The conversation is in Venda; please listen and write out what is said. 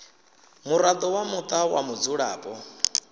muraḓo wa muṱa wa mudzulapo